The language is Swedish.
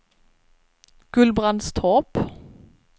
Gullbrandstorp